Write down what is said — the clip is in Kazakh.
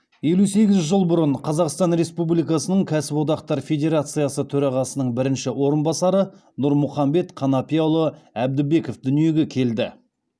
елу сегіз жыл бұрын қазақстан республикасының кәсподақтар федерациясы төрағасының бірінші орынбасары нұрмұхамбет қанапияұлы әбдібеков дүниеге келді